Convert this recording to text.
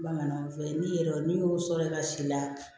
Bamananw fɛyi n'i yɛrɛ n'i y'o sɔrɔ i ka si la